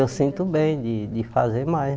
Eu sinto bem de de fazer mais.